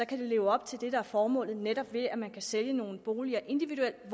kan det leve op til formålet ved at man kan sælge nogle boliger individuelt